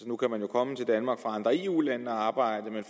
nu kan man jo komme til danmark fra andre eu lande og arbejde men